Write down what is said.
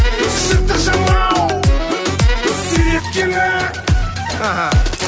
жыртық жамау сүйреткенің